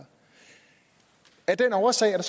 af den årsag er